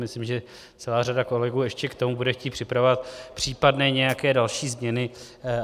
Myslím, že celá řada kolegů ještě k tomu bude chtít připravovat případné nějaké další změny.